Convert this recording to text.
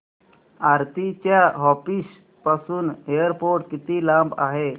आरती च्या ऑफिस पासून एअरपोर्ट किती लांब आहे